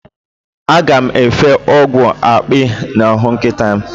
Aga m efe ọgwụ akpị n'ahụ nkịta m.